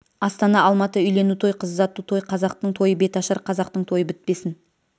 астана алматы үйлену той қыз ұзату той қазақтың тойы беташар қазақтың тойы бітпесін